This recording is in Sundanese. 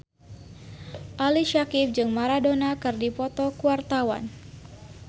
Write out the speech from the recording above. Ali Syakieb jeung Maradona keur dipoto ku wartawan